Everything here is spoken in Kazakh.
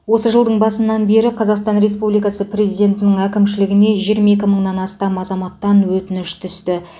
осы жылдың басынан бері қазақстан республикасы президентінің әкімшілігіне жиырма екі мыңнан астам азаматтан өтініш түсті